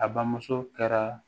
A bamuso kɛra